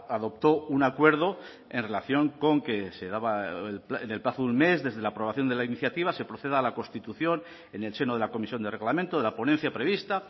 adoptó un acuerdo en relación con que se daba en el plazo de un mes desde la aprobación de la iniciativa se proceda a la constitución en el seno de la comisión de reglamento de la ponencia prevista